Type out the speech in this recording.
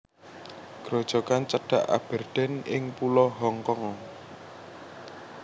Grojogan cedhak Aberdeen ing Pulo Hong Kong